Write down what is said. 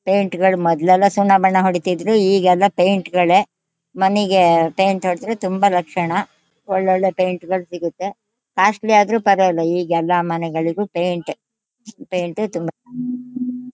Paint ಗಳು ಮೊದ್ಲೆಲ್ಲಾ ಸುಣ್ಣ ಬಣ್ಣ ಹೊಡೀತಿದ್ವಿ ಈಗ್ ಎಲ್ಲಾ ಪೇಯಿಂಟ್ ಗಳೇ ಮನಿಗೆ ಪೇಯಿಂಟ್ ಹೊಡದ್ರೆ ತುಂಬಾ ಲಕ್ಷಣ. ಒಳ್ ಒಳ್ಳೆ ಪೇಯಿಂಟ್ ಗಳು ಸಿಗುತ್ತೇ. ಕಾಸ್ಟ್ಲಿ ಆದ್ರು ಪರವಾಗಿಲ್ಲ ಈಗ್ ಎಲ್ಲಾ ಮನೆಗಳಿಗೂ ಪೇಯಿಂಟ್ ಎ ಪೇಯಿಂಟ್ ಎ ತಮ್--